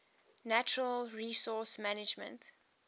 natural resource management